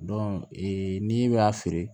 ee n'i y'a feere